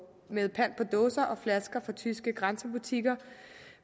med pant på dåser og flasker fra tyske grænsebutikker